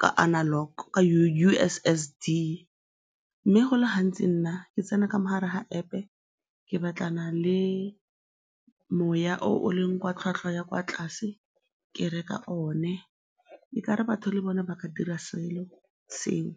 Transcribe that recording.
ka analogue, ka U_S_S_D mme go le gantsi nna ke tsena ka mo gare ga App ke batlana le moya o o leng wa tlhwatlhwa ya kwa tlase, ke reka one, e ka re batho le bone ba ka dira selo seo.